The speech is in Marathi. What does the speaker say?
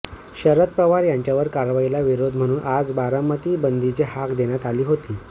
शरद पवार यांच्यावरच्या कारवाईला विरोध म्हणून आज बारामती बंदची हाक देण्यात आली होती